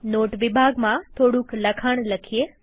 not વિભાગમાં થોડુક લખાણ લખીએ